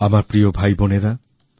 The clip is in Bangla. আমার প্রিয় ভাইবোনেরা